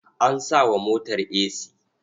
An sa wa motar esi.